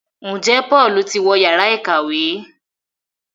Njé Paul tí wọ Yàrá ìkàwé?